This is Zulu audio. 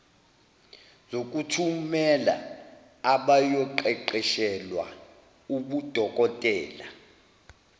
zokuthumela abayoqeqeshelwa ubudokotela